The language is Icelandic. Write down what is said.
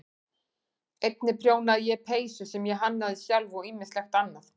Einnig prjónaði ég peysur sem ég hannaði sjálf og ýmislegt annað.